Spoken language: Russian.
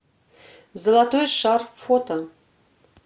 золотой шар фото